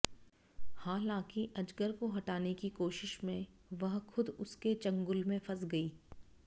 हालांकि अजगर को हटाने की कोशिश में वह खुद उसके चंगुल में फंस गई